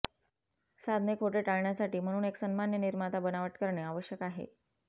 साधने खोटे टाळण्यासाठी म्हणून एक सन्मान्य निर्माता बनावट करणे आवश्यक आहे